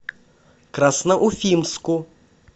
красноуфимску